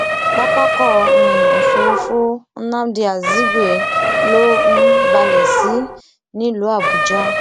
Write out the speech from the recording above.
pápákọ um òfurufú nnamdi azikwe ló um balẹ sí nílùú àbújá